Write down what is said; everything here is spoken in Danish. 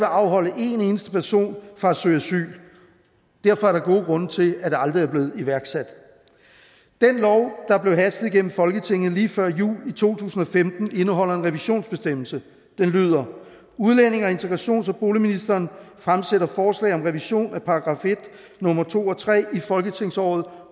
afholde en eneste person fra at søge asyl derfor er der gode grunde til at det aldrig er blevet iværksat den lov der blev hastet igennem folketinget lige før jul i to tusind og femten indeholder en revisionsbestemmelse den lyder udlændinge integrations og boligministeren fremsætter forslag om revision af § en nummer to og tre i folketingsåret